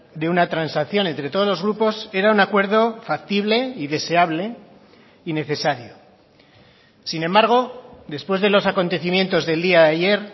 de una transacción entre todos los grupos era un acuerdo factible y deseable y necesario sin embargo después de los acontecimientos del día de ayer